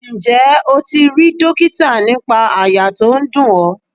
Ǹjẹ́ o ti rí dókítà nípa àyà tó ń dùn ọ?